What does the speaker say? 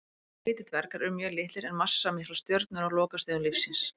Hvítir dvergar eru mjög litlar en massamiklar stjörnur á lokastigum lífs síns.